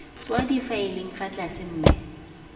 tswa difaeleng fa tlase mme